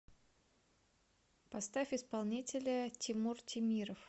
поставь исполнителя тимур темиров